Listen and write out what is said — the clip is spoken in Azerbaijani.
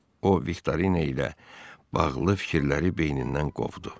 O Viktorina ilə bağlı fikirləri beynindən qovdu.